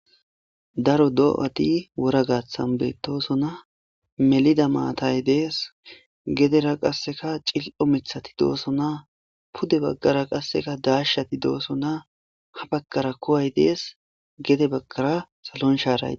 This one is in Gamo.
Daro doa'thi wora gathan bethossona melida maththayi dess gedera qassekka cillo' mithathi dossona pude baggara qasse dashethi dossona ha baggara kuyi dess gede bagar sallon sharayi dees.